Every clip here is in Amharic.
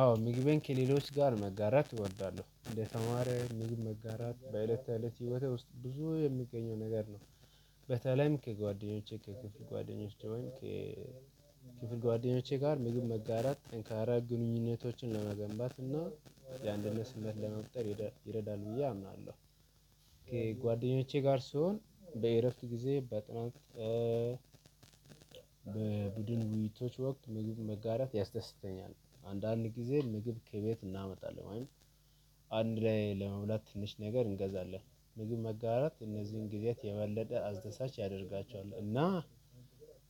አዎ ምግቤን ከሌሎች ጋር መጋራት እወዳለሁ እንደ ተማሪ ምግብ መጋራት በእለት ተእለት ህይወቴ ውስጥ ብዙ የሚገኘው ነገር ነው። በተለይም ከጓደኞቼ ከክፍል ጓደኞቼ ወይም ከክፍል ጓደኞቼ ጋር ምግብ መጋራት ጠንካራ ግንኙነቶችን ለመገንባት እና የአንድነት ስበት ለመፍጠር ይረዳል ብዬ አምናለሁ። ከጓደኞቼ ጋር ስሆን በእረፍት ጊዜ በጥናት በቡድን ውይይቶች ወቅት ምግብ መጋራት ያስደስተኛል። አንዳንድ ጊዜ ምግብ ከቤት እናመጣለን ወይም አንድ ላይ ለመብላት ትንሽ ነገር እንገዛለን። ምግብ መጋራት እነዚህን ጊዜያት የበለጠ አስደሳች ያደርጋቸዋል። እና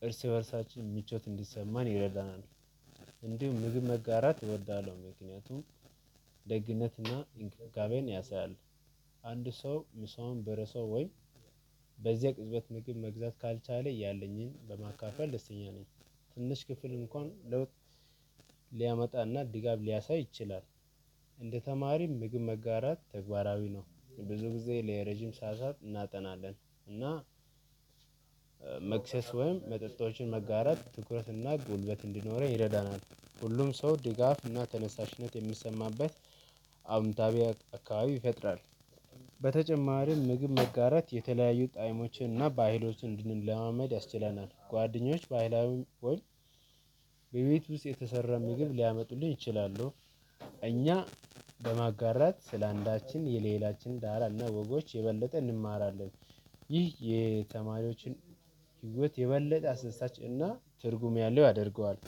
እርስ በርሳችን ምቾት እንዲሰማን ይገደናል። እንዲሁም ምግብ መጋራት እወዳለሁ። ምክንያቱም ደግነትና እንክብካቤን ያሳያል። አንድ ሰው ምሳውን ቢረሳው ወይም በዚያ ቅጽበት ምግብ መግዛት ካልቻለ ያለኝን በማካፈል ደስተኛ ነኝ። ትንሽ ክፍል እንኳን ለውጥ ሊያመጣና ድጋፍ ሊያሳይ ይችላል። እንደ ተማሪም ምግብ መጋራት ተግባራዊ ነው። ብዙ ጊዜ ለረጅም ሰዓታት እናጠናለን። እና መክሰስ ወይም መጠጦችን መጋረት ትኩረትና ጉልበት እንዲኖረን ይረዳናል። ሁሉም ሰው ድጋፍና ተነሳሽነት የሚሰማበት አወንታዊ አካባቢ ይፈጥራል። በተጨማሪም ምግብ መጋራት የተለያዩ ጥቅሞችን እና ባህሎችን እንድንለማመድ ያስችለናል። ጓደኞች ባህላዊ ወይም በቤት ውስጥ የተሰራ ምግብ ሊያመጡልኝ ይችላሉ። እኛ በማጋራት ስለአንዳችን የሌላችን ዳራና ወጎች የበለጠ እንማራለን። ይህ የተማሪዎችን ህይወት የበለጠ አስደሳች እና ትርጉም ያለው ያደርገዋል።